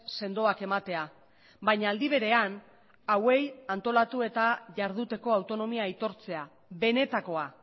sendoak ematea baina aldi berean hauei antolatu eta jarduteko autonomia aitortzea benetakoa